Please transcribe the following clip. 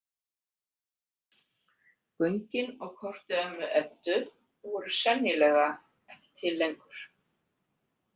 Göngin á korti ömmu Eddu voru sennilega ekki til lengur.